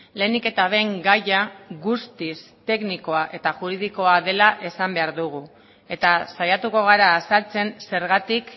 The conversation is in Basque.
lehenik eta behin gaia guztiz teknikoa eta juridikoa dela esan behar dugu eta saiatuko gara azaltzen zergatik